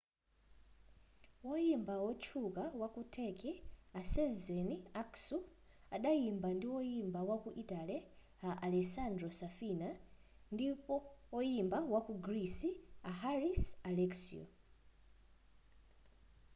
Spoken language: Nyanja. woyimba otchuka waku turkey a sezen aksu adayimba ndi woyimba wa ku italy a alessandro safina ndi woyimba waku greece a haris alexiou